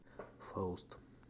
фауст